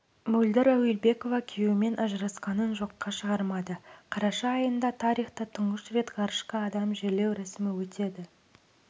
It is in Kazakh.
мөлдір әуелбекова күйеуімен ажырасқанын жоққа шығармады қараша айында тарихта тұңғыш рет ғарышқа адам жерлеу рәсімі өтеді